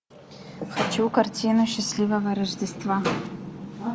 хочу картину счастливого рождества